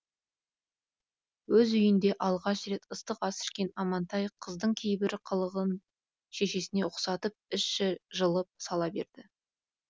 өз үйінде алғаш рет ыстық ас ішкен амантай қыздың кейбір қылығын шешесіне ұқсатып іші жылып сала берді